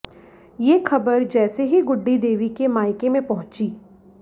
ये खबर जैसे ही गुड्डी देवी के मायके में पहुंची